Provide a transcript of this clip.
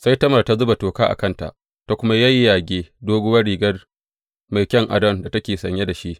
Sai Tamar ta zuba toka a kanta, ta kuma yayyage doguwar riga mai kayan adon da take sanye da shi.